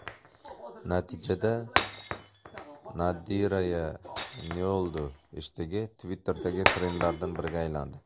Natijada #NadirayaNeOldu heshtegi Twitter’dagi trendlardan biriga aylandi.